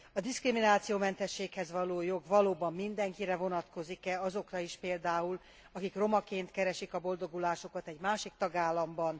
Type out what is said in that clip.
A diszkriminációmentességhez való jog valóban mindenkire vonatkozik e, azokra is például, akik romaként keresik a boldogulásukat egy másik tagállamban?